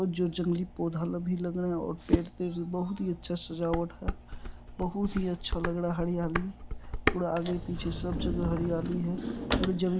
जो जंगली पौधा भी लग रहे है और पेड़ तेर बहुत ही अच्छा सजावट है बहुत ही अच्छा लग रहा है हरयाली और पूरा आगे पीछे सब जगह हरयाली है।